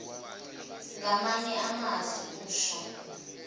ngamanye amazwi usho